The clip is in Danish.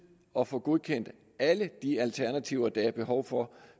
at få godkendt alle de alternativer der er behov for